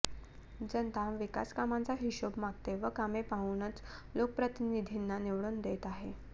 जनता विकासकामांचा हिशोब मागते व कामे पाहूनच लोकप्रतिनिधींना निवडून देत आहे